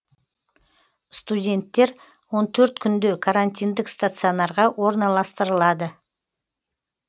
студенттер он төрт күнде карантиндік стационарға орналастырылады